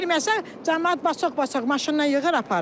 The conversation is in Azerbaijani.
Girməsə, camaat bacox-bacox, maşınla yığıb aparır.